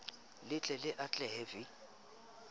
le ke le atlehe v